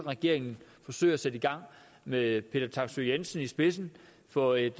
regeringen forsøger at sætte i gang med peter taksøe jensen i spidsen for et